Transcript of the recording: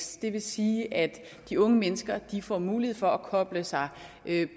det vil sige at de unge mennesker får mulighed for at koble sig